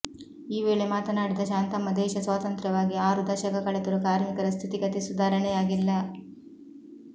ಈ ವೇಳೆ ಮಾತನಾಡಿದ ಶಾಂತಮ್ಮ ದೇಶ ಸ್ವಾತಂತ್ರ್ಯವಾಗಿ ಆರು ದಶಕ ಕಳೆದರೂ ಕಾರ್ಮಿಕರ ಸ್ಥಿತಿಗತಿ ಸುಧಾರಣೆಯಾಗಿಲ್ಲ